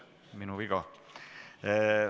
Minu viga.